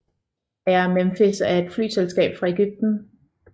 Air Memphis er et flyselskab fra Egypten